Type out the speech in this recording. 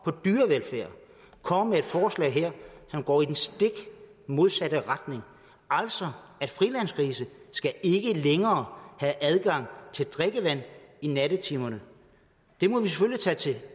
på dyrevelfærd kommer med et forslag her som går i den stik modsatte retning altså at frilandsgrise ikke længere have adgang til drikkevand i nattetimerne det må vi selvfølgelig tage til